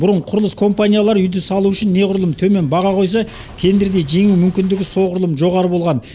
бұрын құрылыс компаниялары үйді салу үшін неғұрлым төмен баға қойса тендерде жеңу мүмкіндігі соғұрлым жоғары болған